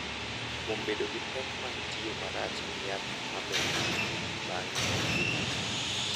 Kuom bedo gi pek mag tiyo marach gi yath ma mero ji bang’e e ngimagi,